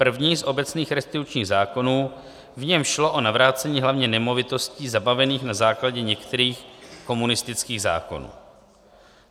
První z obecných restitučních zákonů, v němž šlo o navrácení hlavně nemovitostí zabavených na základě některých komunistických zákonů.